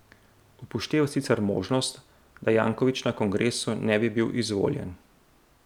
Upošteva sicer možnost, da Janković na kongresu ne bi bil izvoljen.